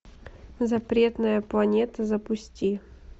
запретная планета запусти